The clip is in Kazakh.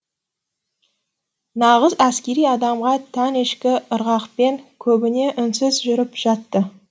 нағыз әскери адамға тән ішкі ырғақпен көбіне үнсіз жүріп жатты